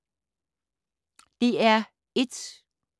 DR1